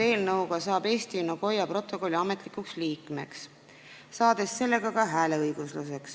Eelnõu kohaselt saab Eesti Nagoya protokolliga ametlikult ühinenuks ja see annab meile ka hääleõiguse.